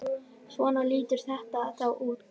Svona lítur þetta þá út.